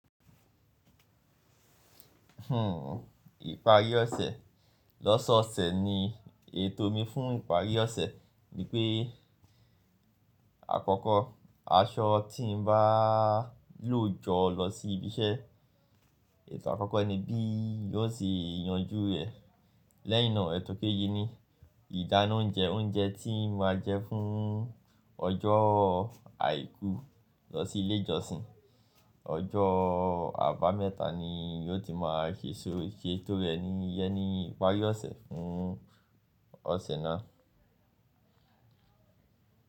Hmm, ìparí ọ̀sẹ̀. Lọ́sọ̀ọ̀sẹ̀ ni ètò mi fún ìparí ọ̀sẹ̀, wípé àkọ́kọ́ aṣọ tí n bá lò jọ lọ sí ibi iṣẹ́. Ètò àkọ́kọ́ ni bí yóò ṣe yanjú ẹ̀. Lẹ́yin nà, ètò kejì ni ìdáná oúnjẹ, oúnjẹ tí n máa jẹ fún ọjọ́ àìkú lọ sí ilé ìjọsìn. Ọjọ́ àbámẹ́ta ni yóò ti máa ṣe seto re ní ìparí ọ̀sẹ̀ fún ọ̀sẹ̀ náà.